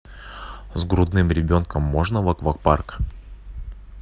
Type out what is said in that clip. с грудным ребенком можно в аквапарк